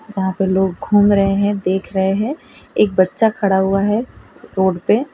जहां पे लोग घूम रहे हैं देख रहे हैं एक बच्चा खड़ा हुआ है रोड पे।